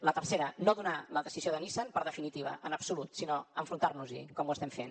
la tercera no donar la decisió de nissan per definitiva en absolut sinó enfrontar nos hi com ho estem fent